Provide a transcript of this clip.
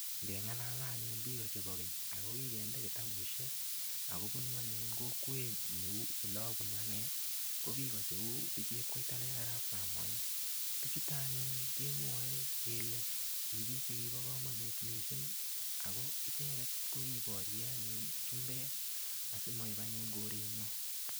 Ngeng'alale anyun biko chebo keny akokikende kitabushek ako bunu kokwenyu ole abunu ane ko biko cheu bichep koitalel arap samoei bichuto anyun kemwoe kele ki biik chekibo komonut mising' ako icheget ko kibore anyun chumbek asimaip anyun korenyo